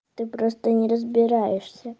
ты просто не разбираешься